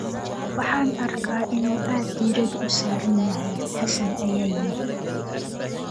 "Waxaan arkaa inuu aad diirada u saaran yahay," Xassan ayaa yiri.